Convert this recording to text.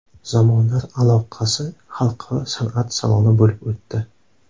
Zamonlar aloqasi” xalqaro san’at saloni bo‘lib o‘tdi.